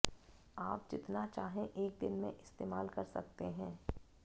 आप जितना चाहे एक दिन में इस्तेमाल कर सकते है